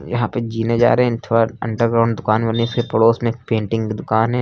यहां पे जीने जा रहे हैं थोड़ा अंडरग्राऊंड दुकान होने से पड़ोस में एक पेंटिंग की दुकान है।